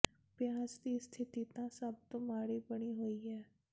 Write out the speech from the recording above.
ਪਿਆਜ਼ ਦੀ ਸਥਿਤੀ ਤਾਂ ਸਭ ਤੋਂ ਮਾੜੀ ਬਣੀ ਹੋਈ ਹ